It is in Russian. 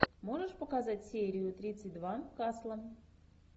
можешь показать серию тридцать два касла